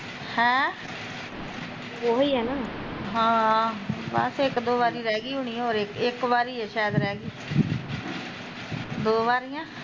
ਹੈਂ ਹਾਂ ਬਸ ਇੱਕ ਦੋ ਵਾਰੀ ਰਹਿਗੀ ਹੁਣੀ ਹੋਰ ਇੱਕ ਇੱਕ ਵਾਰੀ ਸ਼ੈਦ ਰਹਿਗੀ ਕੀ ਦੋ ਵਾਰੀ ਆ